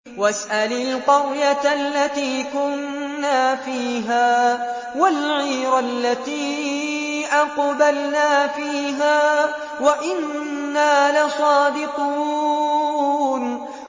وَاسْأَلِ الْقَرْيَةَ الَّتِي كُنَّا فِيهَا وَالْعِيرَ الَّتِي أَقْبَلْنَا فِيهَا ۖ وَإِنَّا لَصَادِقُونَ